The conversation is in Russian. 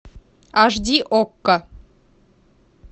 аш ди окко